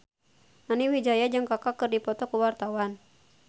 Nani Wijaya jeung Kaka keur dipoto ku wartawan